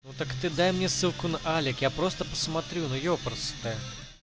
ну так ты дай мне ссылку на алик я просто посмотрю но епрст